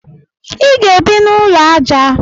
Ị ga-ebi n'ụlọ aja